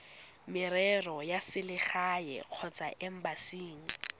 merero ya selegae kgotsa embasing